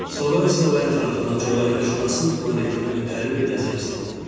Sonra isə o ətrafına coğrafiyaşünasın planetinə ötəri bir nəzər saldı.